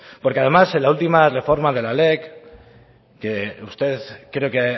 porque además en la última reforma de la lec que usted creo que